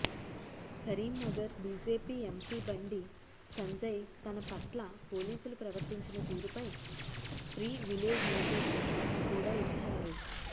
Karimnagar BJP MP Bandi Sanjay తనపట్ల పోలీసులు ప్రవర్తించిన తీరుపై ప్రివిలేజ్ నోటీస్ కూడా ఇచ్చారు